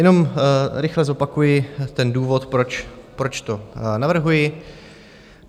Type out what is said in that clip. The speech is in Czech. Jenom rychle zopakuji ten důvod, proč to navrhuji.